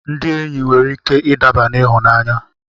Ndị enyi nwere ike ịdaba n'ịhụnanya.